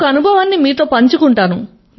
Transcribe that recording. ఒక అనుభవాన్ని మీతో పంచుకుంటాను